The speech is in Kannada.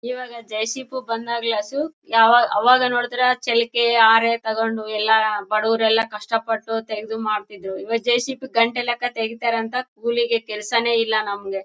ಈವಾಗ ಜೆ.ಸಿ.ಬು ಬಂದಾಗ್ಲೂ ಅಸು ಆವಾಗ ನೋಡಿದ್ರೆ ಚಾಲ್ಕೇ ಹಾರೇ ತಕೊಂಡು ಎಲ್ಲಾ ಬಡೋವ್ರು ಎಲ್ಲಾ ಕಷ್ಟ ಪಟ್ಟು ತೆಗದು ಮಾಡ್ತಾ ಇದ್ರೂ ಈವಾಗ ಜೆ.ಸಿ.ಬು ಗಂಟೆ ಗಟ್ಟಲೆ ತೆಗಿತಾರೆ ಅಂತ ಕೂಲಿಗೆ ಕೆಲ್ಸನೆ ಇಲ್ಲ ನಮಗೆ --